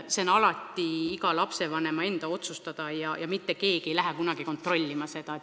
See on alati iga lapsevanema enda otsustada ja mitte keegi ei hakka seda kunagi kontrollima.